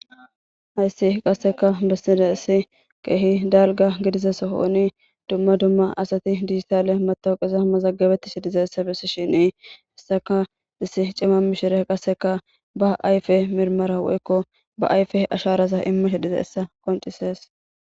Hayssi qasseka bessida issi keehi dalga gidiza sohooni dumma dumma asati dizissale matawuqesa mazaggabetti si diza essa bessi shini hissaka issi cima mishire qasseka ba ayfe mirmara woykko ba ayfe asharasa immo he diza essa qoncisees.